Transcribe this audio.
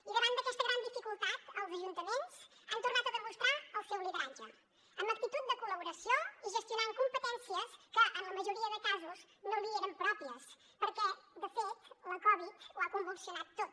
i davant d’aquesta gran dificultat els ajuntaments han tornat a demostrar el seu lideratge amb actitud de col·laboració i gestionant competències que en la majoria de casos no li eren pròpies perquè de fet la covid ho ha convulsionat tot